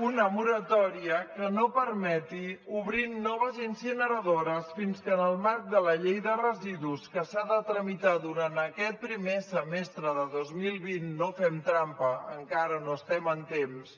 una moratòria que no permeti obrir noves incineradores fins que en el marc de la llei de residus que s’ha de tramitar durant aquest primer semestre de dos mil vint no fem trampa encara no estem en temps